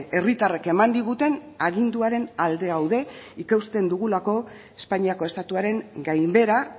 herritarrek eman diguten aginduaren alde gaude ikusten dugulako espainiako estatuaren gainbehera